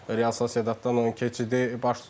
Real Sosiedaddan o keçidi baş tutdu.